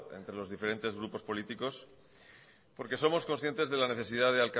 entre los diferentes grupos políticos porque somos conscientes de la necesidad